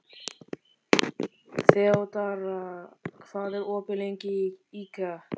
Þeódóra, hvað er opið lengi í IKEA?